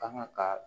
Kanga ka